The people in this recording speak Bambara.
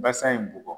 Basa in bɔgɔ